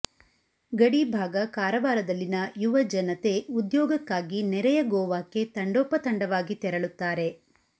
ಗಡಿ ಭಾಗ ಕಾರವಾರದಲ್ಲಿನ ಯುವ ಜನತೆ ಉದ್ಯೋಗಕ್ಕಾಗಿ ನೆರೆಯ ಗೋವಾಕ್ಕೆ ತಂಡೋಪ ತಂಡವಾಗಿ ತೆರಳುತ್ತಾರೆ